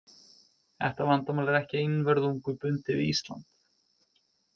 Þetta vandamál er ekki einvörðungu bundið við Ísland.